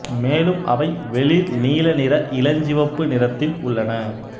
மேலும் அவை வெளிர் நீல நிற இளஞ்சிவப்பு நிறத்தில் உள்ளன